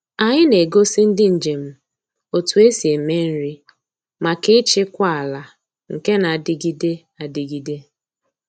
Anyị na-egosi ndị njem otú esi eme nri maka ịchịkwa ala nke na-adịgide adịgide.